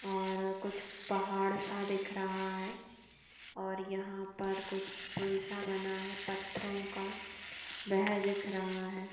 और कुछ पहाड़ सा दिख रहा है और यहाँ पर कुछ पुल सा बना है पत्थरों का वेह दिख रहा है।